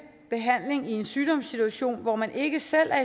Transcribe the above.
behandling i en sygdomssituation hvor man ikke selv er